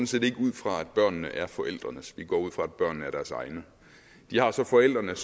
set ikke ud fra at børnene er forældrenes vi går ud fra at børnene er deres egne de har så forældrene